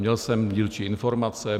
Měl jsem dílčí informace.